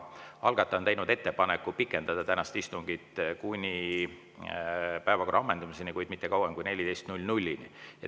Algataja on teinud ettepaneku pikendada tänast istungit kuni päevakorra ammendumiseni, kuid mitte kauem kui kella 14‑ni.